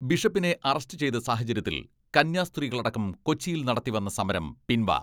ബിഷപ്പിനെ അറസ്റ്റ് ചെയ്ത സാഹചര്യത്തിൽ കന്യാസ്ത്രീകളടക്കം കൊച്ചിയിൽ നടത്തിവന്ന സമരം പിൻവ